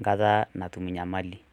nkata natum nyamali